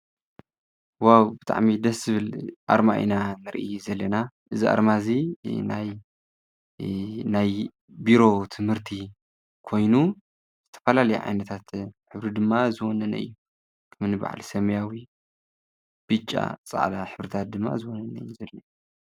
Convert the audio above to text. ዋው !ብጣዕሚ ደስ ዝብል አርማ ኢና ነርኢ ዘለና። እዚ አርማ እዚ ናይ ቢሮ ትምህርቲ ኮይኑ ዝተፈላለዪ ዓይነት ሕብሪ ድማ ዝወነነ እዩ ከም በዓል ሰማያዊ፣ ቢጫ ፣ፃዕዳ ሕብርታት ድማ ዝወነነ እዪ ዘሎ።